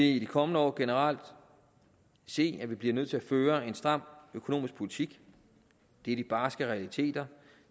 i de kommende år generelt se at vi bliver nødt til at føre en stram økonomisk politik det er de barske realiteter